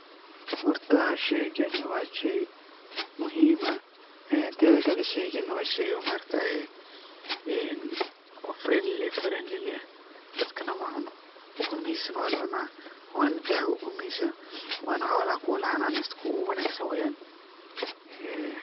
Horta sheygani wa shey muhim ah , tetha kale sheygani wa shey oo maaragtaye oo friendly ah dadkana macuno ukumahisana waa lacunaa waana dawo , waana xolaha kuwa lahananesto kuwa ugu wanagsan weyan.